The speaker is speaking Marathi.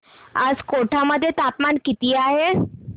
आज कोटा मध्ये तापमान किती आहे